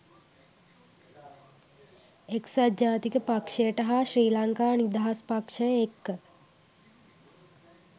එක්සත් ජාතික පක්ෂයට හා ශ්‍රී ලංකා නිදහස් පක්ෂය එක්ක